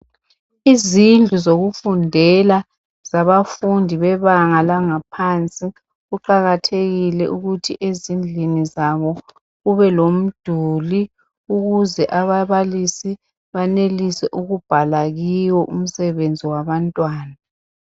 Izindlu zokufundela zabafundi bebanga langaphansi kuqakathekile ukuthi ezindlini zabo kubelomduli ukuze ababalisi banelise ukubhala kiwo umsebenzi wabantwana.